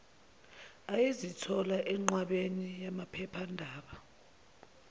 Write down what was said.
ayezithola enqwabeni yamaphephandaba